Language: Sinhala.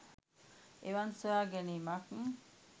එවන් සොයා ගැනීමක්